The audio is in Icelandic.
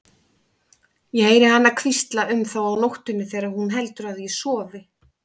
Ég heyri hana hvísla um þá á nóttunni þegar hún heldur að ég sofi.